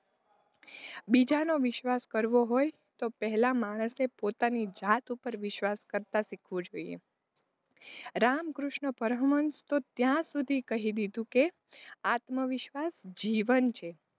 બીજાનો વિશ્વાસ કરવો હોય તો માણસે પહેલા પોતાની જાત ઉપર વિશ્વાસ કરતાં શીખવું જોઇયે રામકૃષ્ણ પરમહંષ તો ત્યાં સુધી કહી દીધું કે આત્મવિશ્વાસ જીવન છે.